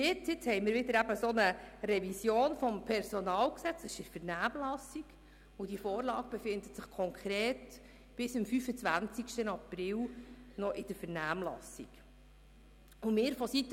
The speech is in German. Nun liegt wieder eine Revision des PG vor, die bis am 25. April in der Vernehmlassung bleibt.